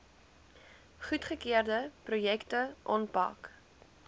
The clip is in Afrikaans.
goedgekeurde projekte aanpak